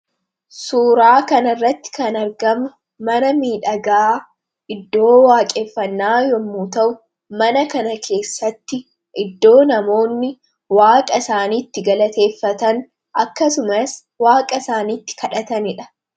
suuraa kana irratti kan argamu mana miidhagaa iddoo waaqeeffannaa yommuu ta'u mana kana keessatti iddoo namoonni waaqa isaaniitti galateeffatan akkasumas waaqa isaaniitti kadhataniidha